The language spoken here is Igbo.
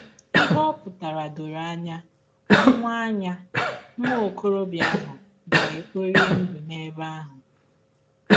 Ihe ọ pụtara dọrọ anya: Nwa anya: Nwa ọkọrọbịa ahụ ga - ekpọri ndụ n’ebe ahụ.